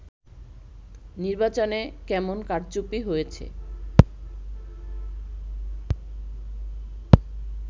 নির্বাচনে কেমন কারচুপি হয়েছে